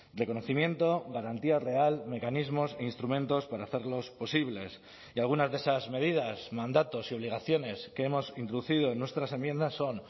reconocimiento garantía real mecanismos e instrumentos para hacerlos posibles y algunas de esas medidas mandatos y obligaciones que hemos introducido en nuestras enmiendas son